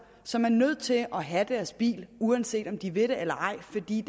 som er nødt til at have deres bil uanset om de vil det eller ej fordi